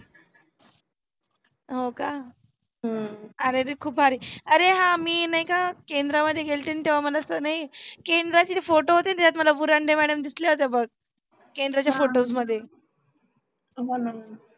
हो का? अरेरे खुप भारी आरे हा मी नाही का केंद्रामध्ये गेलते तेव्हा मला स नाही केंद्राचे photo होते ना त्यात मला बुरांदे madam दिसल्या होत्या बघ. केंद्राच्या photos मध्ये